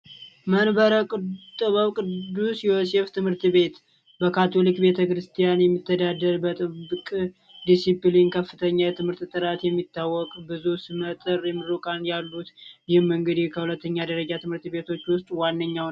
መንበረ ቅዱስ ዮሴፍ ትምህርት ቤት በካቶሊክ ቤተ ክርስቲያን የምተዳደር ጥብቅ ዲሲፕሊን ከፍተኛ የትምህርት የሚታወቅ ብዙ ስመጥር ያሉ የሁለተኛ ደረጃ ትምህርት ቤቶች ውስጥ ዋነኛው ነው።